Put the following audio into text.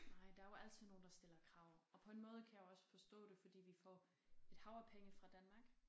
Nej der er jo altid nogle der stiller krav og på en måde kan jeg også forstå det fordi vi får et hav af penge fra Danmark